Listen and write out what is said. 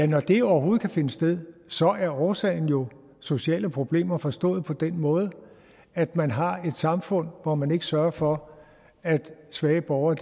når det overhovedet kan finde sted så er årsagen jo sociale problemer forstået på den måde at man har et samfund hvor man ikke sørger for at svage borgere